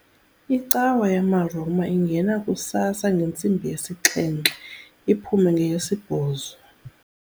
Icawa yamaRoma ingena kusasa ngentsimbi yesixhenxe iphume ngeyesibhozo.